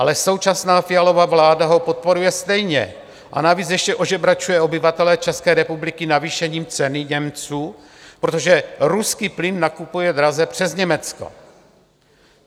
Ale současná Fialova vláda ho podporuje stejně, a navíc ještě ožebračuje obyvatele České republiky navýšením ceny Němců, protože ruský plyn nakupuje draze přes Německo.